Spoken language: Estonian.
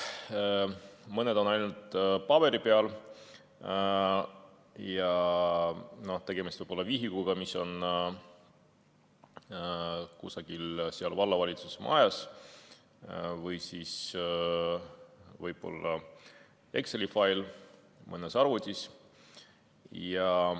Mõned on ainult paberi peal ja tegemist võib olla vihikuga, mis on kusagil vallavalitsuse majas, või siis võib-olla Exceli failiga mõnes arvutis.